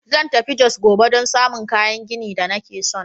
Zan tafi Jos gobe don samun kayan gini da nake son.